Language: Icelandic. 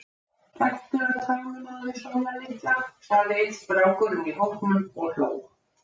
Gættu að tánum á þér Sóla litla, sagði einn strákurinn í hópnum og hló.